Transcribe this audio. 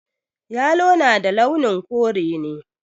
Yalo na da launin kore ne